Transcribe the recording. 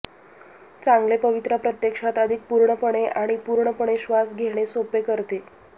चांगले पवित्रा प्रत्यक्षात अधिक पूर्णपणे आणि पूर्णपणे श्वास घेणे सोपे करते